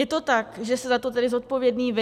Je to tak, že jste za to tedy zodpovědný vy?